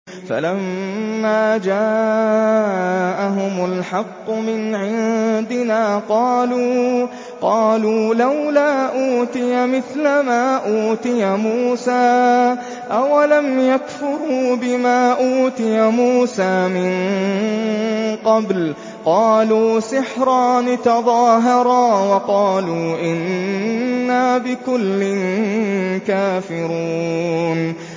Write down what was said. فَلَمَّا جَاءَهُمُ الْحَقُّ مِنْ عِندِنَا قَالُوا لَوْلَا أُوتِيَ مِثْلَ مَا أُوتِيَ مُوسَىٰ ۚ أَوَلَمْ يَكْفُرُوا بِمَا أُوتِيَ مُوسَىٰ مِن قَبْلُ ۖ قَالُوا سِحْرَانِ تَظَاهَرَا وَقَالُوا إِنَّا بِكُلٍّ كَافِرُونَ